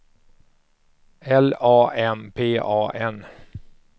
L A M P A N